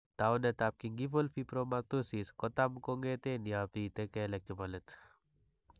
Taunetap gingival fibromatosis ko tam kong'eten ya bite kelek che po let.